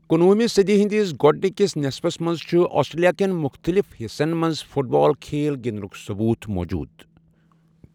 کنوہہ مہ صدی ہٕندس گۄڈٕنکس نصفَس منٛز چھُ آسٹریلیا کٮ۪ن مُختلِف حصن منٛز 'فٹ بال' کھیل گنٛدٕنٕکۍ ثبوٗت موٗجوٗد۔